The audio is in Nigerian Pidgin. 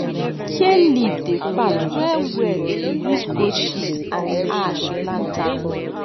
kale leaf dey fat wellwell if you use goat shit and ash plant am